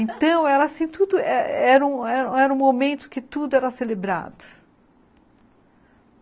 Então, era assim, tudo, era era um momento que tudo era celebrado.